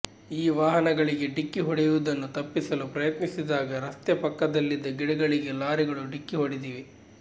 ಈ ವಾಹನಗಳಿಗೆ ಡಿಕ್ಕಿ ಹೊಡೆಯುವುದನ್ನು ತಪ್ಪಿಸಲು ಪ್ರಯತ್ನಿಸಿದಾಗ ರಸ್ತೆ ಪಕ್ಕದಲ್ಲಿದ್ದ ಗಿಡಗಳಿಗೆ ಲಾರಿಗಳು ಡಿಕ್ಕಿ ಹೊಡೆದಿವೆ